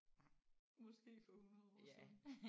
Nej måske for 100 år siden